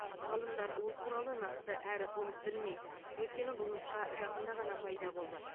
ғалымдар ол туралы нақты әрі толық білмейді өйткені бұл нұсқа жақында ғана пайда болды